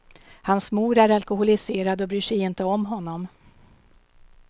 Hans mor är alkoholiserad och bryr sig inte om honom.